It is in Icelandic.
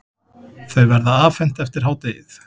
Þau verða afhent eftir hádegið.